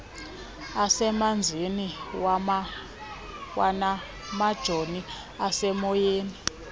asemanzini kwanamajoni asemoyeni